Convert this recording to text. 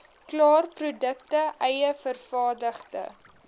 klaarprodukte eie vervaardigde